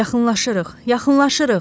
Yaxınlaşırıq, yaxınlaşırıq.